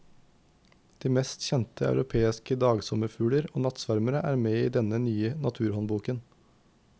De mest kjente europeiske dagsommerfugler og nattsvermere er med i denne nye naturhåndboken.